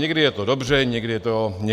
Někdy je to dobře, někdy je to špatně.